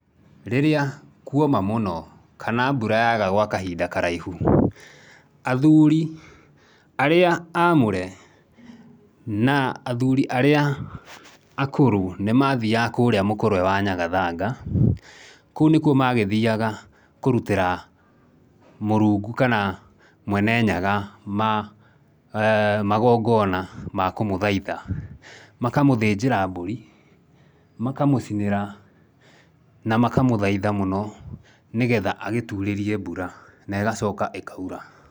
Rĩrĩa kuoma mũno, kana mbura yaga gwa kahinda karaihu, athuri arĩa amũre, na athuri arĩa akũrũ, nĩmathiaga kũrĩa mũkũrwe wa nyagathanga, kũu nĩkuo magĩthiaga kũrutĩra Mũrũngu kana, Mwene Nyaga magongona ma kũmũthaitha, Makamũthĩnjĩra mbũri, makamũcinĩra, na makamũthaitha mũno, nĩgetha agĩtuurĩrie mbura, na ĩgacoka ĩkaura.